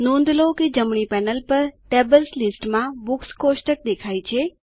નોંધ લો કે જમણી પેનલ પર ટેબલ્સ લિસ્ટ માં બુક્સ કોષ્ટક દેખાય છે